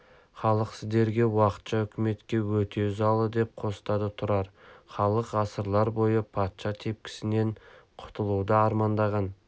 халық сіздерге уақытша үкіметке өте ызалы деп қостады тұрар халық ғасырлар бойы патша тепкісінен құтылуды армандаған